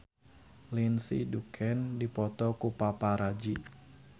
Lindsay Ducan dipoto ku paparazi